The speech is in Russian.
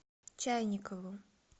чайникову